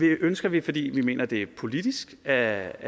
ønsker vi fordi vi mener at det politisk er